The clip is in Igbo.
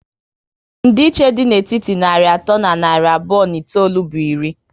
Ndi iche dị na etiti narị atọ na narị abụọ na itoolu bụ iri